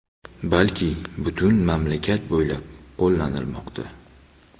balki butun mamlakat bo‘ylab qo‘llanilmoqda.